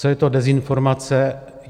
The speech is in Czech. Co je to dezinformace?